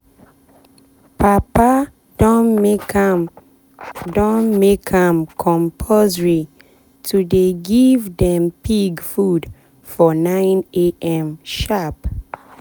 papa don make am don make am compulsory to dey give dem pig food for 6am sharp.